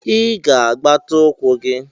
Ị ga-agbata ukwu gi